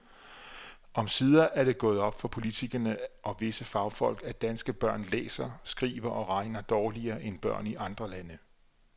Omsider er det gået op for politikere og visse fagfolk, at danske børn læser, skriver og regner dårligere end børn i andre lande.